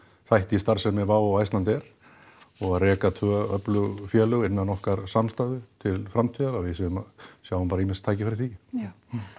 þætti í starfsemi Wow og Icelandair og að reka tvö öflug félag innan okkar samstæðu til framtíðar að við sjáum bara ýmis tækifæri í því já